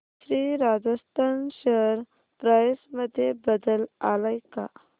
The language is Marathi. श्री राजस्थान शेअर प्राइस मध्ये बदल आलाय का